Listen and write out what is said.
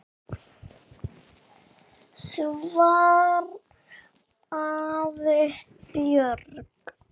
svaraði Björg.